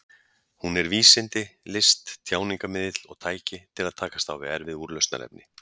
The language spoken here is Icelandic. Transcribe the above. Hún er vísindi, list, tjáningarmiðill og tæki til að takast á við erfið úrlausnarefni.